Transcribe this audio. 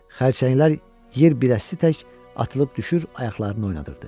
Xərçənglər yerbiləsisitək atılıb düşür, ayaqlarını oynadırdı.